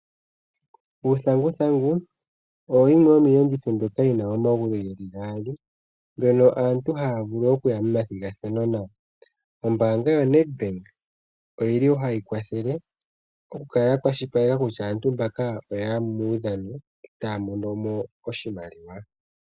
Uuthanguthangu oyo yimwe yomiiyenditho mbyoka yi na omagulu gaali mbyono aantu haya vulu okuya momathigathano nayo. Ombaanga yaNedbank oyili hayi kwathele oku kala ya kwashilipaleka kutya aantu mbaka taya yi muudhano otaya mono mo oshimaliwa.